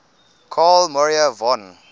carl maria von